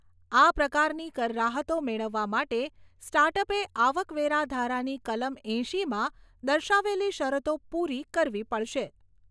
આ પ્રકારની કર રાહતો મેળવવા માટે સ્ટાર્ટઅપે આવકવેરા ધારાની કલમ એંશીમાં દર્શાવેલી શરતો પૂરી કરવી પડશે.